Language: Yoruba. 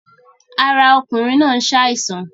Ara ọkùnrin náà ń ṣàìsàn